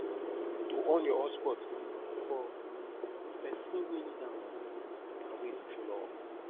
to on your hotspot um for um persin wey need am um na way to show love